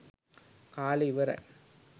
කාලේ ඉවරයි.